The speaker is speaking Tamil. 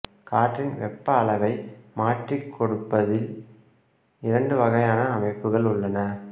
காற்றின் வெப்ப அளவை மாற்றிக் கொடுப்பதில் இரண்டு வகையான அமைப்புகள் உள்ளன